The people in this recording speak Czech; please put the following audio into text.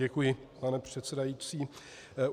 Děkuji, pane předsedající.